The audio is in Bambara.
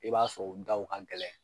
I b'a sɔrɔ u daw ka gɛlɛn.